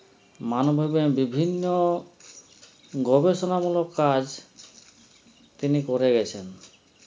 মানভাবে বিভিন্ন গবেষণা মূলক কাজ তিনি করে গেছেন